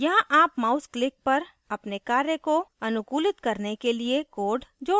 यहाँ आप mouse click पर अपने कार्य को अनुकूलित करने के लिए code code सकते हैं